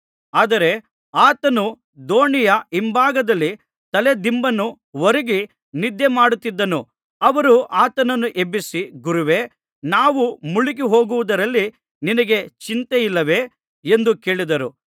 ಆದರೆ ಆತನು ದೋಣಿಯ ಹಿಂಭಾಗದಲ್ಲಿ ತಲೆದಿಂಬನ್ನು ಒರಗಿ ನಿದ್ದೆಮಾಡುತ್ತಿದ್ದನು ಅವರು ಆತನನ್ನು ಎಬ್ಬಿಸಿ ಗುರುವೇ ನಾವು ಮುಳುಗಿಹೋಗುವುದರಲ್ಲಿ ನಿನಗೆ ಚಿಂತೆಯಿಲ್ಲವೇ ಎಂದು ಕೇಳಿದರು